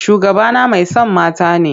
Shugabana mai son mata ne.